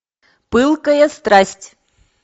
пылкая страсть